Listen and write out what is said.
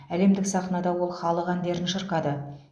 әлемдік сахнада ол халық әндерін шырқады